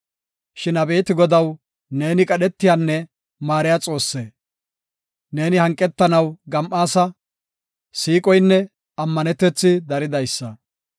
Shin abeeti Godaw, neeni qadhetiyanne maariya Xoosse. Neeni hanqetanaw gam7aasa; siiqoynne ammanetethi daridaysa.